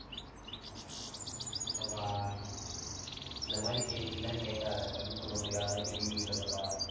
அப்பா, இந்த மாதிரி கேள்வி எல்லாம் கேக்காதே பதில் சொல்ல முடியாத கேள்விகள் இதெல்லாம்.